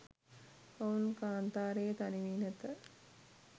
ඔවුන් කාන්තාරයේ තනි වී නැත